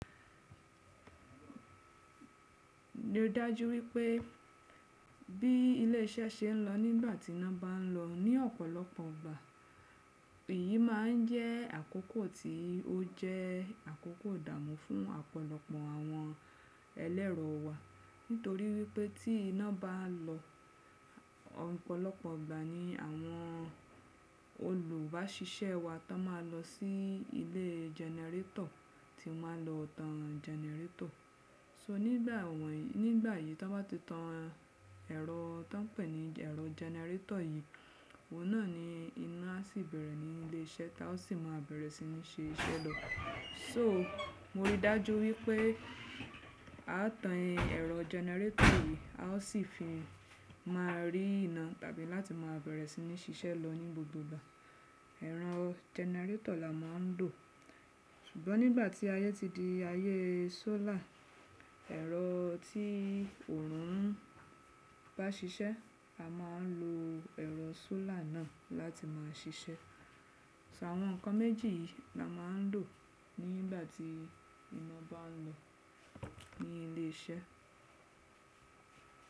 Mo dájú wípé bí ilé iṣẹ́ ṣe ń lọ nígbà tí iná bá ń lọ ní ọ̀pọ̀lọpọ̀ ìgbà, èyí máa ń jẹ́ àkókò tí ó jẹ́ àkókò ìdààmú fún ọ̀pọ̀lọpọ̀ àwọn ẹlẹ́ro wa nítorí wípé tí iná bá lọ, ọ̀pọ̀lọpọ̀ ìgbà ni àwọn olùbáṣise wa tan máa lọ sí ilé jẹnẹrétọ̀ tí won máa lọ tan jẹnẹrétọ̀. So nígbà wọ̀nyii, nígbà yìí tí wọ́n bá ti tan ẹ̀rọ tí wọ́n ń pè ní ẹ̀rọ jẹnẹrétọ̀ yìí, òun náà ni iná á sì bẹ̀rẹ̀ ní ilé iṣẹ́ tá a sì máa bẹ̀rẹ̀ sí ní ṣe iṣẹ́ lọ. So mo rí dájú wípé a tan ẹrọ jẹnẹrétọ̀ yìí, a ó sì fi máa rí ná tàbí láti máa bẹ̀rẹ̀ sí ní ṣiṣẹ́ lọ ní gbogbo ìgbà. Ẹ̀rọ jẹnẹrétọ̀ la máa ń lò. Ṣùgbọ́n nígbà tí ayé ti di ayé sólàr, ẹ̀rọ tí oòrùn ń bá ṣiṣẹ́, a máa ń lo ẹ̀rọ sólàr náà láti máa ṣiṣẹ́. So àwọn nǹkan méjì yìí la máa ń lò nígbà tí ìná bá ń lọ ní ilé iṣẹ́.